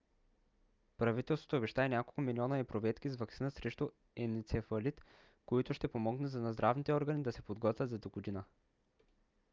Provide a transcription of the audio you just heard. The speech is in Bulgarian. правителството обеща и няколко милиона епруветки с ваксина срещу енцефалит които ще помогнат на здравните органи да се подготвят за догодина